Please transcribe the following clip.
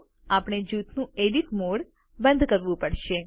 તો આપણે જૂથનું એડિટ મોડ બંધ કરવું પડશે